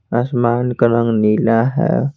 आसमान का रंग नीला है।